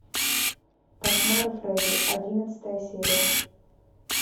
кошмары фредди одиннадцатая серия